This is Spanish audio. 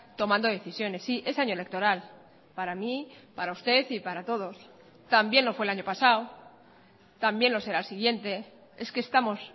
tomando decisiones sí es año electoral para mí para usted y para todos también lo fue el año pasado también lo será el siguiente es que estamos